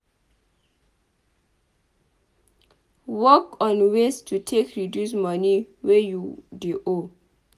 Work on ways to take reduce money wey you dey owe